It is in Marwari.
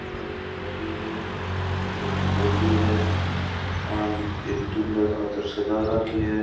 या एक गाड़ी है जो की ऑडी है आन एक दूल्हे खातर सजा राखी है।